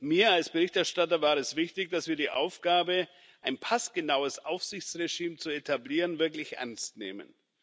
Mir als Berichterstatter war es wichtig, dass wir die Aufgabe, ein passgenaues Aufsichtsregime zu etablieren, wirklich ernst nehmen.